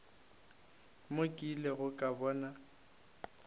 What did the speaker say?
mo ke ilego ka bona